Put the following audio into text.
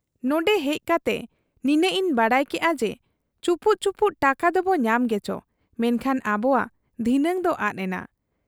ᱱᱚᱱᱰᱮ ᱦᱮᱡ ᱠᱟᱛᱮ ᱱᱤᱱᱟᱹᱜ ᱤᱧ ᱵᱟᱰᱟᱭ ᱠᱮᱜ ᱟ ᱡᱮ ᱪᱩᱯᱩᱫ ᱪᱩᱯᱩᱫ ᱴᱟᱠᱟ ᱫᱚᱵᱚ ᱧᱟᱢ ᱜᱮᱪᱚ, ᱢᱮᱱᱠᱷᱟᱱ ᱟᱵᱚᱣᱟᱜ ᱫᱷᱤᱱᱟᱹᱝ ᱫᱚ ᱟᱫ ᱮᱱᱟ ᱾